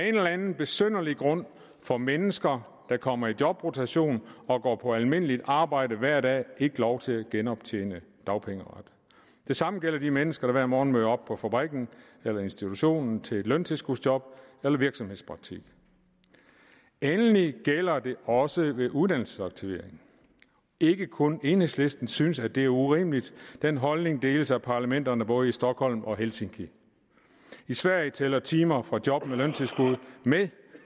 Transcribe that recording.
eller anden besynderlig grund får mennesker der kommer i jobrotation og går på almindeligt arbejde hver dag ikke lov til at genoptjene dagpengeret det samme gælder de mennesker der hver morgen møder op på fabrikken eller institutionen til løntilskudsjob eller virksomhedspraktik endelig gælder det også ved uddannelsesaktivering ikke kun enhedslisten synes at det er urimeligt den holdning deles af parlamenterne både i stockholm og i helsinki i sverige tæller timer fra job med løntilskud med